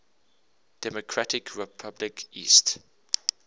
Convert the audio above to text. democratic republic east